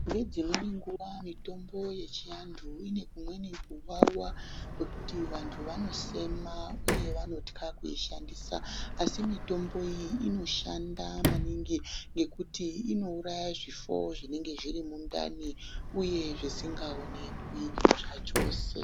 Nedzimweni nguva mitombo yechivantu inekumwe kuvava kwekuti vantu vanosema uye vanotwa kuishandisa. Asi mitombo iyi inoshanda maningi nekuti inouraya zvifoo zvinenge zviri mundani, uye zvisinga onekwi zvachose.